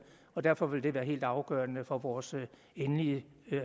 og derfor vil det være helt afgørende for vores endelige